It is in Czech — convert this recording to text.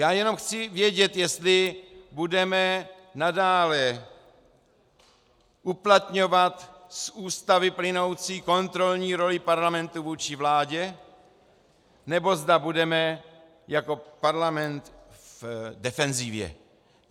Já jenom chci vědět, jestli budeme nadále uplatňovat z Ústavy plynoucí kontrolní roli parlamentu vůči vládě, nebo zda budeme jako parlament v defenzivě.